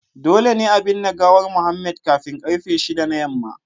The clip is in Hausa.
Dole ne a binne gawar Mohammed kafin karfe 6 na yamma